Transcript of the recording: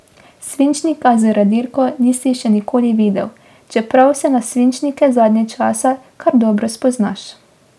Svinčnika z radirko nisi še nikoli videl, čeprav se na svinčnike zadnje čase kar dobro spoznaš.